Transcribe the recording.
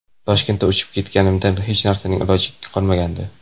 Toshkentga uchib kelganimda hech narsaning iloji qolmagandi.